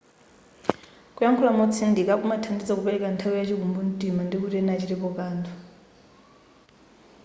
kuyakhula motsindika kumathandiza kupeleka nthawi yachikumbu mtima ndikuti ena achitepo kanthu